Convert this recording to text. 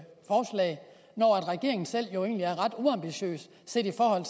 regeringen jo selv egentlig er ret uambitiøs set i forhold